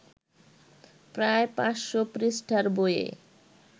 প্রায় ৫০০ পৃষ্ঠার বইয়ে